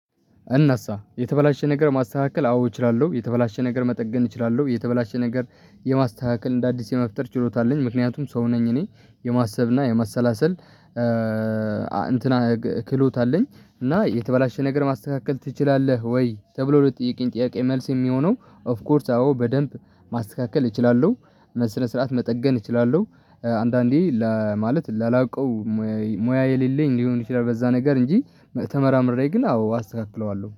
እናሳ የተበላሸ ነገር ማስተካከል አዎ እችላለሁ የተበላሸ ነገር መጠገን እችላለሁ የተበላሸ ነገር የማስተካከል እንደ አዲስ የመፍጠር ችሎታ አለኝ ምክንያቱም ሰው ነኝ እኔ የማሰብና የማሰላሰል። እንትን ክህሎት አለኝ እና የተበላሸ ነገር ማስተካከል ትችላለህ? ወይ ተብሎ ለተጠየቀኝ ጥያቄ መልስ የሚሆነው ኦፍ ኮርስ አዎ በደንብ ማስተካከል እችላለሁ። በስነስርዓት መጠገን እችላለሁ። አንዳንዴ ለማለት ላላቀው ሙያ የሌለኝ ሊሆን ይችላል በዛ ነገር እንጂ ተመራምሬ ግን አዎ አስተካክለዋለሁ